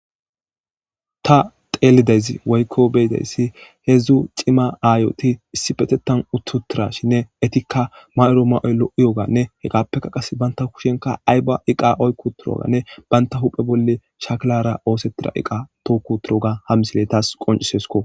Ta teelideyz woykko beyidayssi heedzdzu cima aayoti issipetetan uttutira shinne etikka mayoro ma7oy lo7iyoganne heqappeka qas banta kushenka ayba iqa oykkuturoganne banta huphe bolle shaklara oosettira iqa tookuturoga hammisile taas qoncisesko.